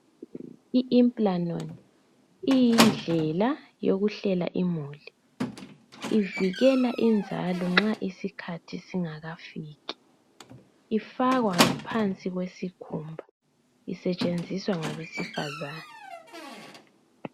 iImplanon iyindlela yokuhlela imuli , ivikela inzalo nxa isikhathi singakafiki, ifakwa ngaphansi kwesikhumba. Isetshenziswa ngabesifazane.